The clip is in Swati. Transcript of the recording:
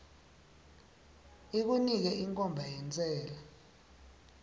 ikunike inkhomba yentsela